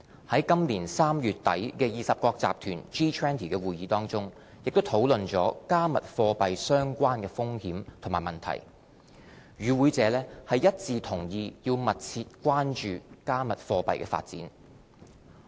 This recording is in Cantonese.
在今年3月底的20國集團會議，也討論到"加密貨幣"相關的風險和問題，與會者一致同意要密切關注"加密貨幣"的發展。